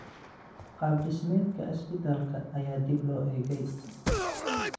Qaab dhismeedka isbitaalka ayaa dib loo eegay.